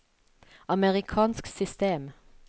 amerikansk system